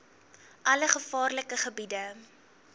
alle gevaarlike gebiede